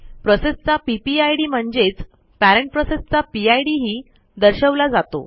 प्रोसेसचा PPID म्हणजेच parent प्रोसेसचा PID ही दर्शवला जातो